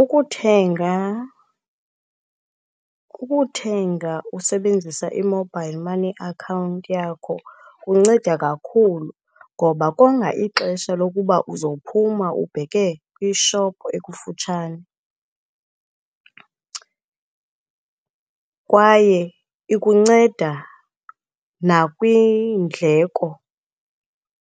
Ukuthenga ukuthenga usebenzisa i-mobile money account yakho kunceda kakhulu, ngoba konga ixesha lokuba uzophuma ubheke kwishophu ekufutshane. Kwaye ikunceda nakwiindleko